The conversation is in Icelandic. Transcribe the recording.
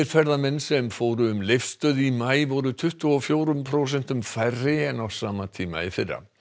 ferðamenn sem fóru um Leifsstöð í maí voru tuttugu og fjórum prósentum færri en á sama tíma í fyrra